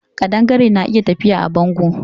Ƙadangare na iya tafiya a bango